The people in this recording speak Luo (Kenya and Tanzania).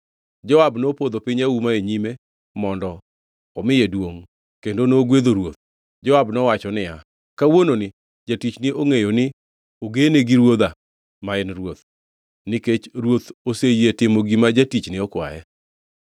Joab nopodho piny auma e nyime mondo omiye duongʼ, kendo nogwedho ruoth. Joab nowacho niya, “Kawuononi jatichni ongʼeyo ni ogene gi ruodha ma en ruoth, nikech ruoth oseyie timo gima jatichne okwaye.”